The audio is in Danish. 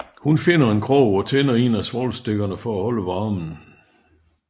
Hun finder en krog og tænder en af svovlstikkerne for at holde varmen